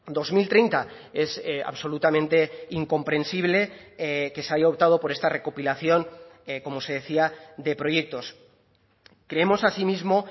dos mil treinta es absolutamente incomprensible que se haya optado por esta recopilación como se decía de proyectos creemos asimismo